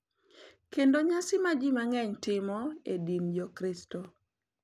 Kendo nyasi ma ji mang’eny timo e din Jokristo.